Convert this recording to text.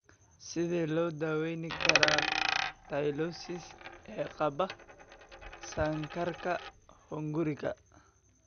Sidee loo daweyn karaa Tylosis ee qaba kansarka hunguriga?